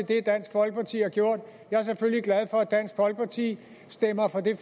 det dansk folkeparti har gjort jeg er selvfølgelig glad for at dansk folkeparti stemmer for det